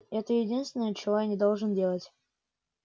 это единственное чего я не должен делать